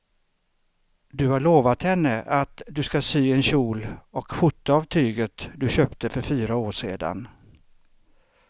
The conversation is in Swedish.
Du har lovat henne att du ska sy en kjol och skjorta av tyget du köpte för fyra år sedan.